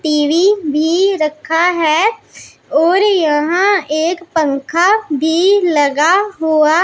TV भी रखा हैं और यहां एक पंखा भी लगा हुआ--